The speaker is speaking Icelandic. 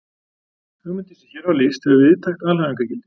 Hugmyndin sem hér var lýst hefur víðtækt alhæfingargildi.